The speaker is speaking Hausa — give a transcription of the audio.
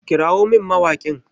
Kirawo min mawaƙin!